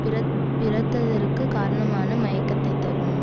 பிறபிறத்ததற்குக் காரணமான மயக்கத்தைத் தரும்